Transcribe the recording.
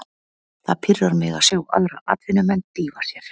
Það pirrar mig að sjá aðra atvinnumenn dýfa sér.